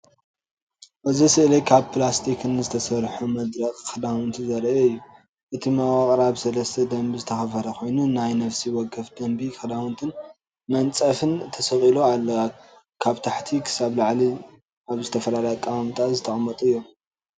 እዚ ስእሊ ካብ ፕላስቲክን ዝተሰርሐ መደርቕ ክዳውንቲ ዘርኢ እዩ። እቲ መዋቕር ኣብ ሰለስተ ደርቢ ዝተኸፋፈለ ኮይኑ፡ ኣብ ነፍሲ ወከፍ ደርቢ ክዳውንትን መንጸፍን ተሰቒሉ ኣሎ። ካብ ታሕቲ ክሳብ ላዕሊ ኣብ ዝተፈላለየ ኣቀማምጣ ዝተቀመጡ እዮም።